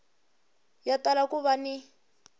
ya tala ku va ni